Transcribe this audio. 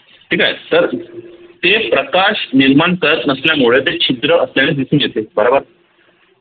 ठीक आहे तर ते प्रकाश निर्माण करत नसल्यामुळे ते छिद्र आपल्याला दिसून येते बरोबर